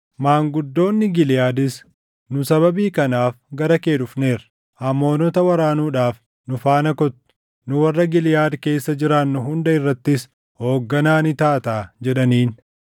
Maanguddoonni Giliʼaadis, “Nu sababii kanaaf gara kee dhufneerra; Amoonota waraanuudhaaf nu faana kottu; nu warra Giliʼaad keessa jiraannu hunda irrattis hoogganaa ni taataa” jedhaniin.